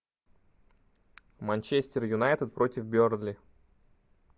манчестер юнайтед против бернли